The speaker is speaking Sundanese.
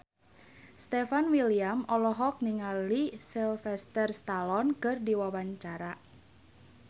Stefan William olohok ningali Sylvester Stallone keur diwawancara